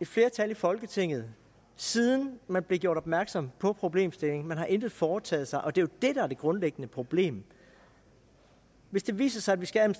et flertal i folketinget siden man blev gjort opmærksom på problemstillingen man har intet foretaget sig og det det der er det grundlæggende problem hvis det viser sig at vi skal